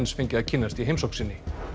fengi að kynnast í heimsókn sinni